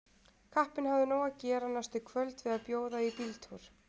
Kappinn hafði nóg að gera næstu kvöld við að bjóða í bíltúr.